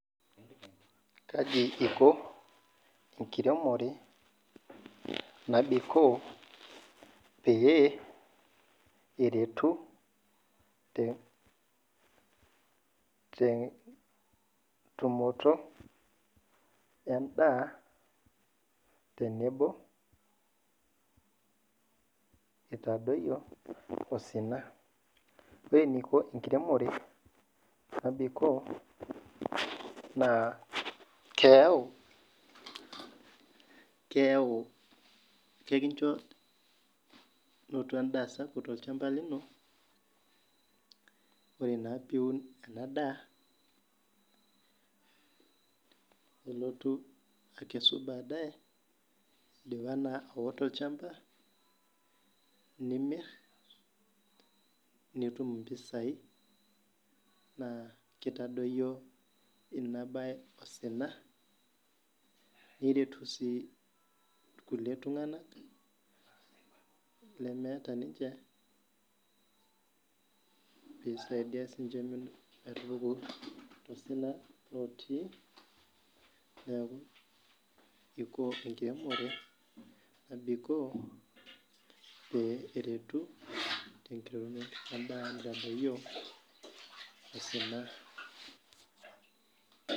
Kaji iko enkiremore nabikoo peretu tentumoto endaa tenebo itadoyio osina ore eniko enkiremore nabikoo na keyau kekincho nonto endaa sapuk tolchamba lino nilotu akesu baadaye nimir nitum impisai nakitadoyio inabae osina nireri si irkulie tunganak lemeeta sinye pepuku tosjna aje nabiko peretu tombaa osina .